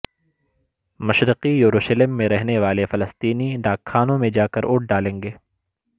مشرقی یروشلم میں رہنے والے فلسطینی ڈاک خانوں میں جاکر ووٹ ڈالیں گے